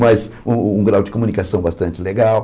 Mas um um grau de comunicação bastante legal.